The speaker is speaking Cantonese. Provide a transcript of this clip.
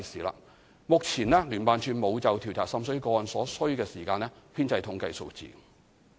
目前聯辦處並無就調查滲水個案所需時間編製統計數字。